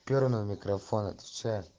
у перонова микрофон отвечаю